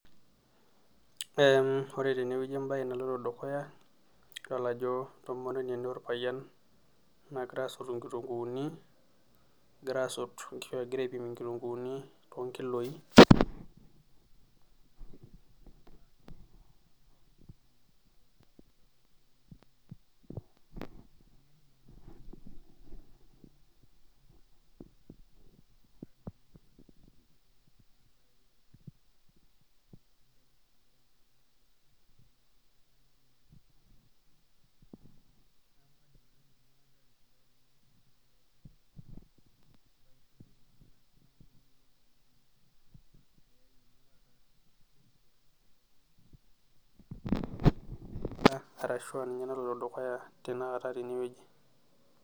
Ee ore tene wueji ebae naloito dukuya idol ajo entomononi ena orpayian, naagira aasotu nkitunkuuni, egira asot, nkitunkuuni tolkiloi, arashu aa ninye naloito dukuya tenakata tene wueji.